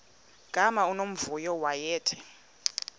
gama unomvuyo wayethe